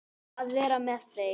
Að vera með þeim.